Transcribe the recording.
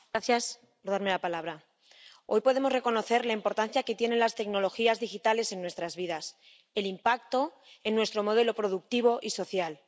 Señora presidenta, hoy podemos reconocer la importancia que tienen las tecnologías digitales en nuestras vidas, el impacto en nuestro modelo productivo y social.